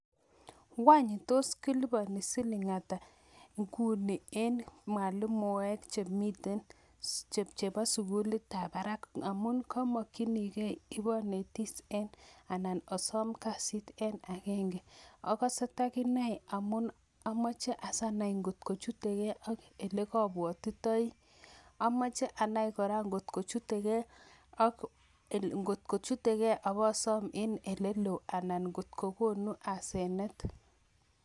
Wany tos kiliponi siling' ata Nguni? en mwalimuek chebo sugulitab barak. Amun komokyoningei abonetis anan asom kasit en agenge. Akose takinai amun amoche si anai angot kochutegei ak oleobwotitoi .Amoche anai kora angot kochutegei abosoom en oleloo anan ngot kokonu aseneth.